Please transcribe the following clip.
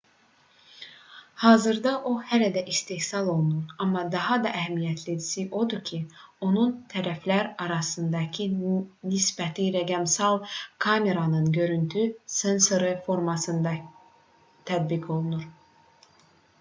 hazırda o hələ də istehsal olunur amma daha da əhəmiyyətlisi odur ki onun tərəflər arasındakı nisbəti rəqəmsal kameranın görüntü sensoru formatlarında tətbiq olunur